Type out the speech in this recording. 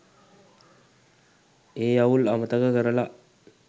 ඒ අවුල් අමතක කරලා